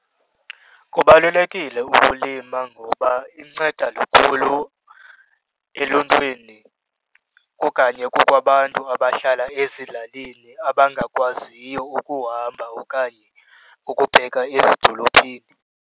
Kubalulekile ukulima ngoba inceda lukhulu eluntwini okanye kubo abantu abahlala ezilalini abangakwaziyo ukuhamba okanye ukubheka ezidolophini.